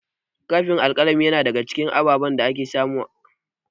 Kofin alƙalami na daga cikin ababen da ake samu a ofis.